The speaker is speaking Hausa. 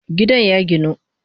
Gidan ya ginu